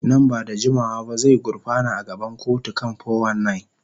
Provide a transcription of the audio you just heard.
Nan ba da jimawa ba zai gurfana a gaban kotu kan 419.